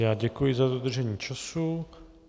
Já děkuji za dodržení času.